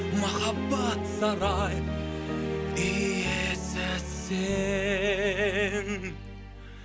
махаббат сарай иесі сен